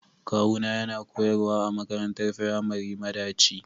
kawuna yana koyarwa a makarantar firamari madaci.